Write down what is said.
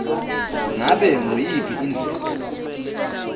ngabe nguyiphi indlela